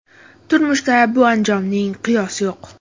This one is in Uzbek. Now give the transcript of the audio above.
Turmushda bu anjomning qiyosi yo‘q.